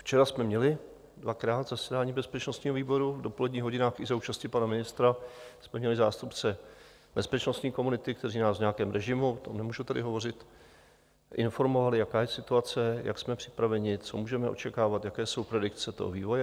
Včera jsme měli dvakrát zasedání bezpečnostního výboru, v dopoledních hodinách i za účasti pana ministra jsme měli zástupce bezpečnostní komunity, kteří nás v nějakém režimu, o tom nemůžu tady hovořit, informovali, jaká je situace, jak jsme připraveni, co můžeme očekávat, jaké jsou predikce toho vývoje.